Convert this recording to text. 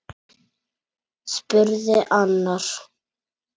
spurði annar.